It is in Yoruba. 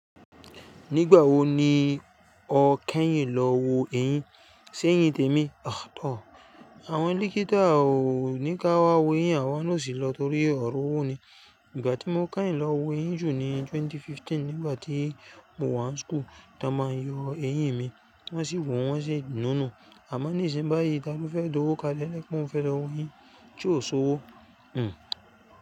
Nígbà wo ni o kẹ́yìn lọ wo eyín, ṣé eyín tèmi? Àwọn díkítọ̀ ò ní ká wá wo eyín àwa ló sì lọ torí ọ̀rọ̀ owó ni. Ìgbà tí mo kẹ́yìn lọ wo eyín jù ni 2015 nígbà tí mo wà ní school. Ta n ma yọ eyín mi wọ́n sì wòó wọ́n sì nu-nù. A má ní ìsin yi báyìí, ta ló fẹ́ d'owo kalẹ́ pẹ mo fẹ́ lọ wo eyín tí ò so'wo?